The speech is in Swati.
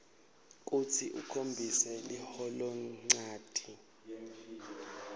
kutsi ukhombise liholonchanti